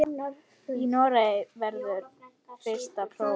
Í Noregi verður fyrsta prófið.